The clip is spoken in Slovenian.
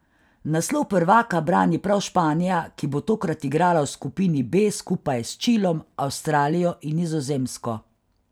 Naslov prvaka brani prav Španija, ki bo tokrat igrala v skupini B skupaj s Čilom, Avstralijo in Nizozemsko.